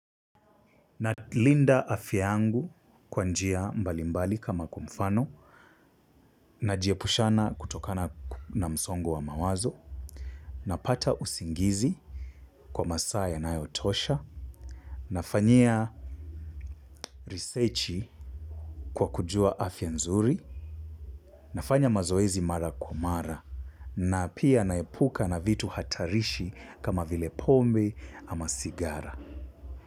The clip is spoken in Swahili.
Nalinda afya yangu kwa njia mbalimbali kama kwa mfano najiepusha na msongo wa mawazo. Napata usingizi kwa masaa yanayotosha, nafanyia research kwa kujua afya nzuri, nafanya mazoezi mara kwa mara na pia naepuka na vitu hatarishi kama vile pombe ama sigara.